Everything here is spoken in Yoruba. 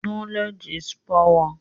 Knowledge is power.